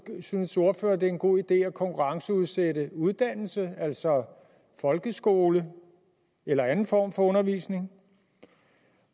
synes ordføreren det er en god idé at konkurrenceudsætte uddannelse altså folkeskole eller anden form for undervisning